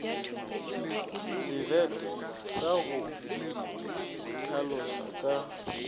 sebete sa go itlhaloša ka